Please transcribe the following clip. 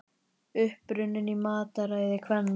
Uppruninn í mataræði kvenna